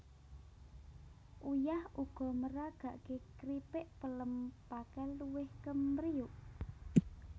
Uyah uga maragaké kripik pelem pakel luwih kempriyuk